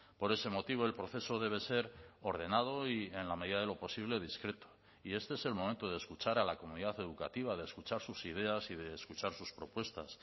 por ese motivo el proceso debe ser ordenado y en la medida de lo posible discreto y este es el momento de escuchar a la comunidad educativa de escuchar sus ideas y de escuchar sus propuestas